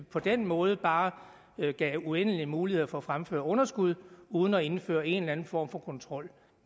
på den måde bare gav uendelige muligheder for at fremføre underskud uden at indføre en eller anden form for kontrol